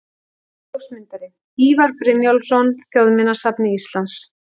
Ljósmyndari: Ívar Brynjólfsson, Þjóðminjasafni Íslands.